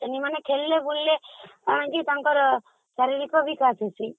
ଖେଳିଲେ ବୁଲିଲେ ତାଙ୍କର ଶାରୀରିକ ବିକାଶ ହଉଚି